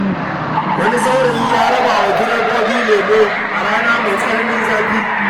Wani saurayi ya rabawa direbobi lemo a rana mai tsananin zafi.